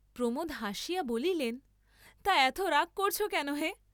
প্রমোদ হাসিয়া বলিলেন, তা এত রাগ করছ কেন হে?